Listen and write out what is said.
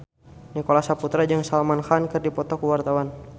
Nicholas Saputra jeung Salman Khan keur dipoto ku wartawan